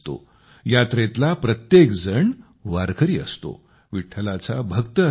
यात्रेतला प्रत्येक जण वारकरी असतो विठ्ठलाचा भक्त असतो